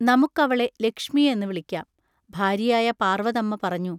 നമുക്കവളെ ലക്ഷ്മി എന്ന് വിളിക്കാം-ഭാര്യയായ പാർവതമ്മ പറഞ്ഞു.